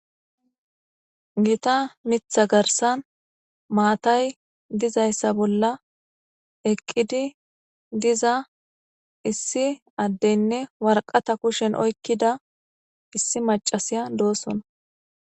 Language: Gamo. Gita mitha garsan maatay dizayssa bolla eqqidi diza issi addeynne warqata kushen oykkida issi macasiya dooson